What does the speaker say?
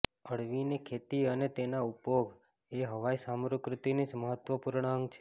અળવીની ખેતી અને તેનો ઉપભોગ એ હવાઈ સામ્કૃતિનું મહત્ત્વપૂર્ણ અંગ છે